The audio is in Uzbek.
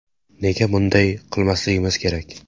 Nega bunday qilmasligimiz kerak?